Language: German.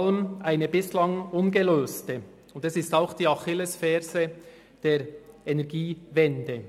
Es ist auch die Achillesferse der Energiewende.